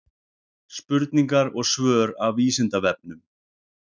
Spurningar og svör af Vísindavefnum.